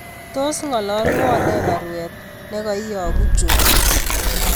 Tos ngololwon ne baruet negaiyogu John